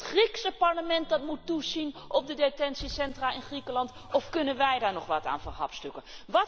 Is het het Griekse parlement dat moet toezien op de detentiecentra in Griekenland of kunnen wij daar nog wat aan verhapstukken?